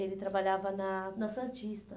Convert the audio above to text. Ele trabalhava na na Santista.